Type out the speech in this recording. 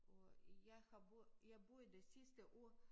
Og jeg har boet jeg boede det sidste år